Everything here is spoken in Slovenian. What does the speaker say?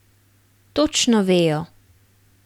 Točno vejo.